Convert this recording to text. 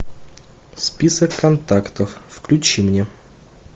список контактов включи мне